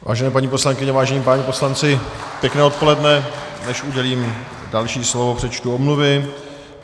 Vážené paní poslankyně, vážení páni poslanci, pěkné odpoledne, než udělím další slovo, přečtu omluvy.